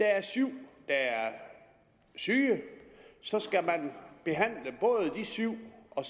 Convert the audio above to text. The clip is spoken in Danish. er syv der er syge så skal man behandle både de syv og